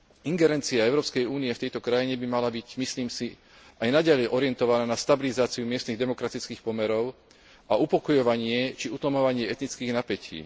Ingerencia Európskej únie v tejto krajine by mala byť, myslím si, aj naďalej orientovaná na stabilizáciu miestnych demokratických pomerov a upokojovanie či utlmovanie etnických napätí.